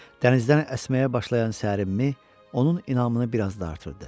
Dənizdən əsməyə başlayan sərin mi onun inadını bir az da artırırdı.